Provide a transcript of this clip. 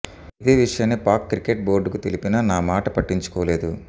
ఇదే విషయాన్ని పాక్ క్రికెట్ బోర్డుకు తెలిపినా నా మాట పట్టించుకోలేదు